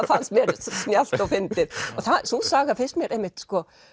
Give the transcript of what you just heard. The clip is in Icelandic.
fannst mér snjallt og fyndið sú saga finnst mér einmitt